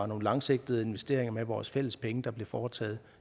nogle langsigtede investeringer af vores fælles penge der bliver foretaget